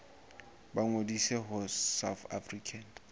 ba ngodise ho south african